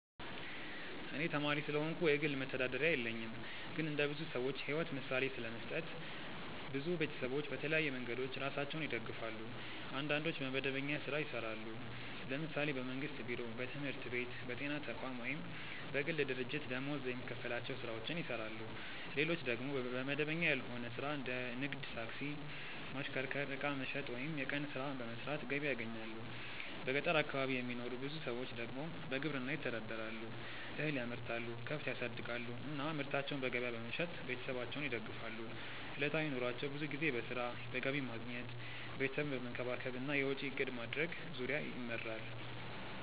እኔ ተማሪ ስለሆንኩ የግል መተዳደሪያ የለኝም። ግን እንደ ብዙ ሰዎች ሕይወት ምሳሌ ለመስጠት፣ ብዙ ቤተሰቦች በተለያዩ መንገዶች ራሳቸውን ይደግፋሉ። አንዳንዶች በመደበኛ ሥራ ይሰራሉ፤ ለምሳሌ በመንግስት ቢሮ፣ በትምህርት ቤት፣ በጤና ተቋም ወይም በግል ድርጅት ደመወዝ የሚከፈላቸው ሥራዎችን ይሰራሉ። ሌሎች ደግሞ በመደበኛ ያልሆነ ሥራ እንደ ንግድ፣ ታክሲ ማሽከርከር፣ ዕቃ መሸጥ ወይም የቀን ሥራ በመስራት ገቢ ያገኛሉ። በገጠር አካባቢ የሚኖሩ ብዙ ሰዎች ደግሞ በግብርና ይተዳደራሉ፤ እህል ያመርታሉ፣ ከብት ያሳድጋሉ እና ምርታቸውን በገበያ በመሸጥ ቤተሰባቸውን ይደግፋሉ። ዕለታዊ ኑሯቸው ብዙ ጊዜ በሥራ፣ በገቢ ማግኘት፣ ቤተሰብን መንከባከብ እና የወጪ እቅድ ማድረግ ዙሪያ ይመራል።